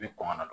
I bi kɔngɔ don